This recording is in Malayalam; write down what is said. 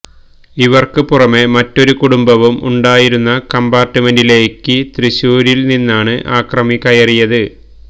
ഇവര്ക്ക് പുറമെ മറ്റൊരു കുടുംബവും ഉണ്ടായിരുന്ന കംപാര്ട്ട്മെന്റിലേക്ക് തൃശ്ശൂരില് നിന്നാണ് അക്രമി കയറിയത്